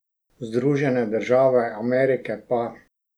Združene države Amerike pa ...